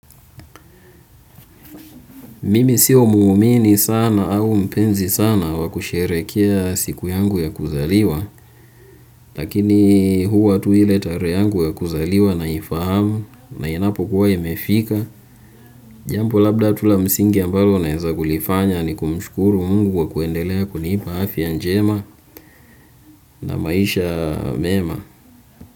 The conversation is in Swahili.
Mimi sio muumini sana au mpenzi sana wa kusherehekea siku yangu ya kuzaliwa. Lakini huwa tu ile tarehe yangu ya kuzaliwa naifahamu na inapokuwa imefika. Jambo labda tu la msingi ambalo naeza kulifanya ni kumshukuru Mungu kwa kuendelea kunipa afya njema na maisha mema.